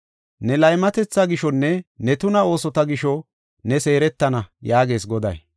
Ne laymatetha gishonne ne tuna oosota gisho ne seeretana” yaagees Goday.